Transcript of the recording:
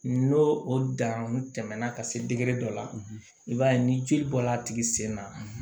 N'o o danw tɛmɛna ka se degere dɔ la i b'a ye ni jeli bɔla a tigi sen na